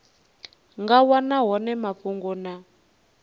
nga wana hone mafhungo na